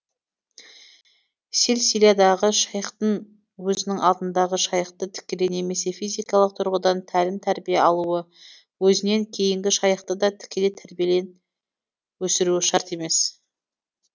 силсиладағы шайхтың өзінің алдындағы шайхты тікелей немесе физикалық тұрғыдан тәлім тәрбие алуы өзінен кейінгі шайхты да тікелей тәрбиелен өсіруі шарт емес